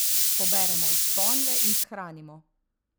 Poberemo iz ponve in shranimo.